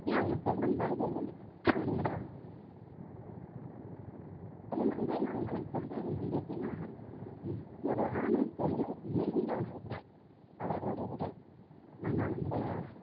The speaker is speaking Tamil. ~ன்னு அவங்க சொல்லும் பொழுது அந்த திருநங்கைன்னு அவங்க சொல்றது வந்து எப்படின்னா ஹம் ஒரு ஆணும் பெண்ணும் இணைந்த ஒரு உடல் அவர்களுடைய உடல் நம்ம அந்த